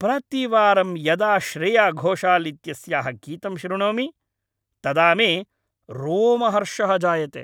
प्रतिवारं यदा श्रेया घोषाल् इत्यस्याः गीतं श्रुणोमि तदा मे रोमहर्षः जायते।